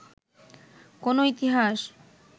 কোনো ইতিহাস